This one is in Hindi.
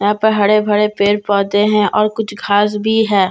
यहाँ पर हड़े भड़े पेड़ पौधे हैं और कुछ घास बी हैं --